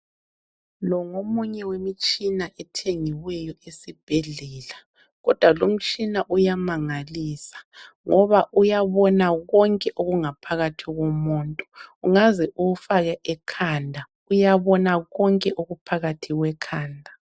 Lowu ngomunye wemitshina othengiweyo esibhedlela, kodwa lowu mtshina uyamangalisa ngoba uyabona konke okungaphakathi komuntu. Ungaze uwufake ekhanda ,uyabona konke okuphakathi kwekhanda.